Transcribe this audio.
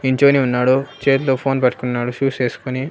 నించొని ఉన్నాడు చేతిలో ఫోన్ పట్టుకున్నాడు షూస్ ఎస్కొని.